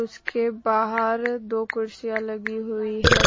उसके बाहर दो कुर्सियां लगी हुई है।